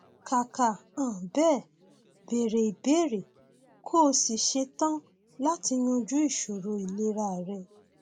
kàkà um bẹẹ béèrè ìbéèrè kó o sì ṣe tán láti yanjú ìṣòro ìlera rẹ